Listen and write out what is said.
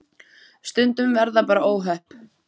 Stundum verða bara óhöpp.